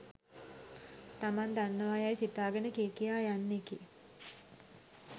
තමන් දන්නවා යැයි සිතාගෙන කිය කියා යන්නෙකි